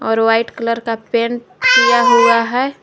और white colour का paint किया हुआ है।